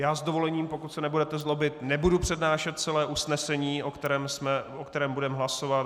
Já s dovolením, pokud se nebudete zlobit, nebudu přednášet celé usnesení, o kterém budeme hlasovat.